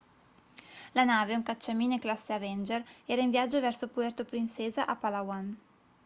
la nave un cacciamine classe avenger era in viaggio verso puerto princesa a palawan